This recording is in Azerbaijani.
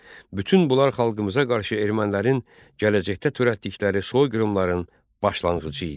Bütün bunlar xalqımıza qarşı ermənilərin gələcəkdə törətdikləri soyqırımların başlanğıcı idi.